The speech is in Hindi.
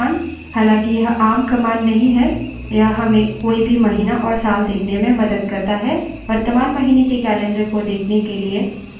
any संबंधित command है cal command हालाँकि यह आम command नहीं है यह हमें कोई भी महीना और साल देखने में मदद करता है